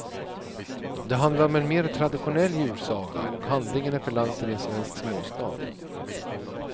Det handlar om en mer traditionell julsaga och handlingen är förlagd till en svensk småstad.